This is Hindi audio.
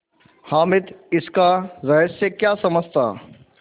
हामिद इसका रहस्य क्या समझता